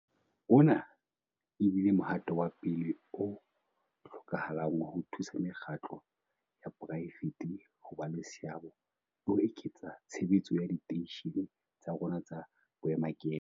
Ona e bile mohato wa pele o hlokahalang wa ho thusa mekgatlo ya poraefete ho ba le seabo le ho eketsa tshebetso ya diteishene tsa rona tsa boemakepe.